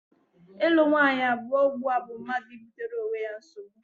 Ịlụ nwaanyị abụọ ugbua bụ mmadụ ibutere onwe ya nsogbu.